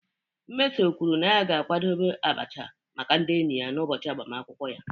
Mmeso kwuru na ya ga-akwadebe abacha maka ndị enyi ya n'ụbọchị agbamakwụkwọ ya.